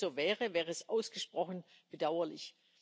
Wenn es so wäre, wäre das ausgesprochen bedauerlich.